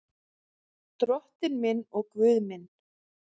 Drottinn minn og Guð minn.